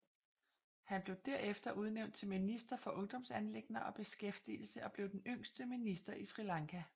Han blev derefter udnævnt til minister for ungdomsanliggender og beskæftigelse og blev den yngste minister i Sri Lanka